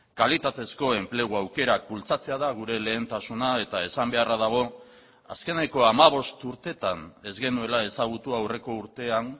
kalitatezko enplegu aukerak bultzatzea da gure lehentasuna eta esan beharra dago azkeneko hamabost urtetan ez genuela ezagutu aurreko urtean